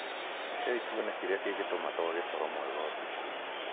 Rekei tuone kĩrĩa kĩngĩtũma twage toro mwega ũtukũ.